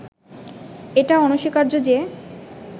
এটা অনস্বীকার্য যে